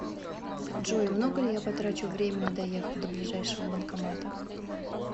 джой много ли я потрачу времени доехав до ближайшего банкомата